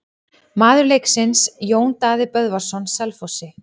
Maður leiksins: Jón Daði Böðvarsson Selfossi.